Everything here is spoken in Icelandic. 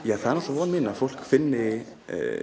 það er von mín að fólk finni